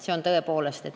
See on tõepoolest nii.